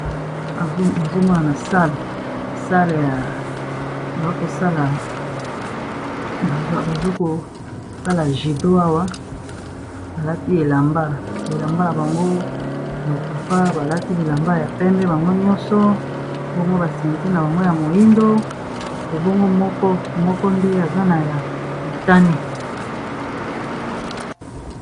Nazomona na sala bakosala judo awa balati elamba bilamba na bango lo papa balati bilamba ya pembe bango nyonso bomgo basente na bango ya moindo ebongo moko nde aza na ya motane